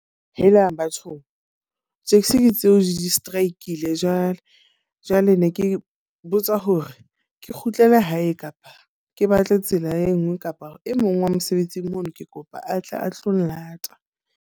Helang! Bathong, taxi ke tseo di-strike-ile jwale. Jwale ne ke botsa hore ke kgutlele hae kapa ke batle tsela e nngwe kapa e mong wa mosebetsing mono, ke kopa a tle a tlo nlata.